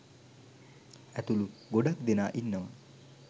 ඇතුළු ගොඩාක් දෙනා ඉන්නවා.